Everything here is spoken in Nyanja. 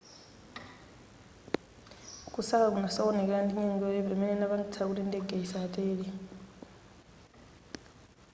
kusaka kunasokonekera ndi nyengo yoyipa imene inapangitsa kuti ndege isatere